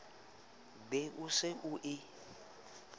be o se o e